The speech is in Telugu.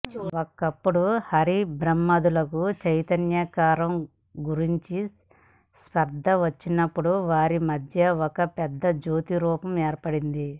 ఒకప్పుడు హరిబ్రహ్మాదులకు చైతన్యకారకంగురించి స్పర్థ వచ్చినప్పుడు వారిమధ్య ఒక పెద్ద జ్యోతి రూపం ఏర్పడింది